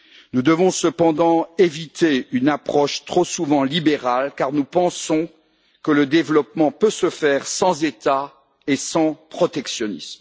Nous devons cependant éviter une approche trop souvent libérale, car nous pensons que le développement peut se faire sans État et sans protectionnisme.